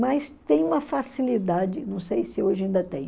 Mas tem uma facilidade, não sei se hoje ainda tem.